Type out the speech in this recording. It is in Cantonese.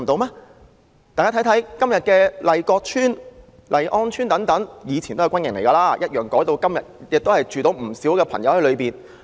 大家看看，今天的麗閣邨、麗安邨等，前身都是軍營，改變用途後容納了不少人居民。